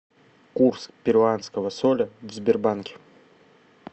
курс перуанского соля в сбербанке